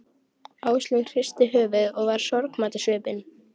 Áslaug hristi höfuðið og var sorgmædd á svipinn.